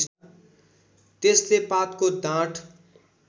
त्यसले पातको डाँठ